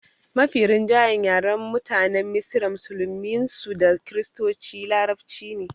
Mafi rinjayen yaren mutanen misra musulmin su da kiristoci larabci ne